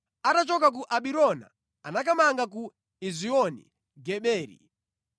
Atachoka ku Abirona anakamanga ku Ezioni-Geberi.